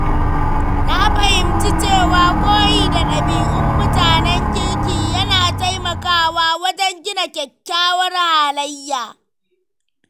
Na fahimci cewa koyi da ɗabi'un mutanen kirki yana taimakawa wajen gina kyakkyawar halayya.